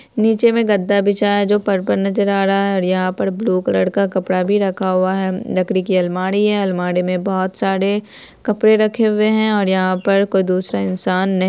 निचे में गदा बिछाया है जो पर्पल नजर आ रहा है और यहाँ पर ब्लू कलर का कपड़ा भी रखा हुआ है लकड़ी की अलमारी है अलमारी में बहुत सारे कपड़े रखे हुए हैं और यहाँ पर कोई दुसरा इंसान नही --